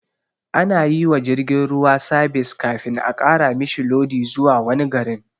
Anayiwa jirgin ruwa sabis kafin a ƙara mishi lodi zuwa wani garin